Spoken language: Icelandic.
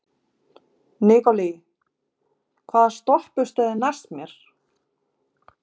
Nikolai, hvaða stoppistöð er næst mér?